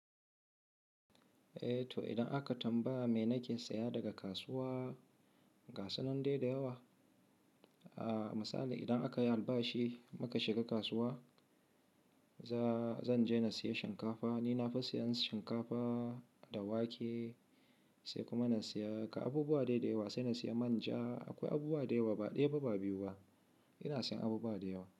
Eh to idan aka tambaya me nake saya daga kasuwa, ga sunan dai da yawa. A misali idan aka yi albashi muka shiga kasuwa, za-zan je na sayi shinkafa. Ni na fi sayan shinkafa da wake, sai kuma na saya ka abubuwa dai da yawa, sai na saya manja. Akwai abubuwa da yawa, ba ɗaya ba ba biyu ba. Ina sayan abubuwa da yawa.